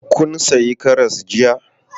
Kun sayi karas jiya?